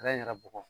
yɛrɛ bɔgɔ